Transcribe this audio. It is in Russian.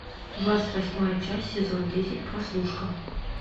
двадцать восьмая часть сезон десять прослушка